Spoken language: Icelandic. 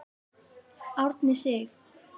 Árni Sig.